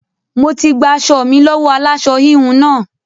Mo ti gba aṣọ mi lọ́wọ́ aláṣọ-híhun náà.